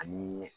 Ani